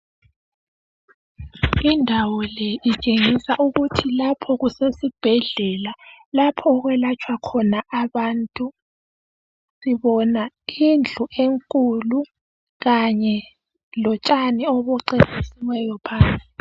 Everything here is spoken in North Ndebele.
Indawo le itshengisa ukuthi lapho kusesibhedlela lapho okwelatshwa khona abantu. Sibona indlu enkulu kanye lontshani obucecisiweyo phandle.